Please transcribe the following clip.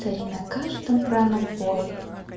цари на каждом бранном поле